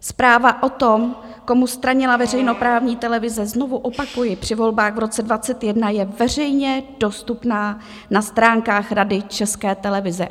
Zpráva o tom, komu stranila veřejnoprávní televize, znovu opakuji, při volbách v roce 2021 je veřejně dostupná na stránkách Rady České televize.